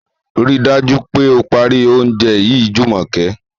Ríi dájú pé o parí oúnjẹ yìí Jùmọ̀kẹ́!